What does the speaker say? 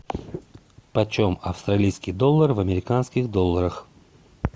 почем австралийский доллар в американских долларах